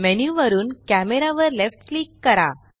menu वरुन camera वर left click करा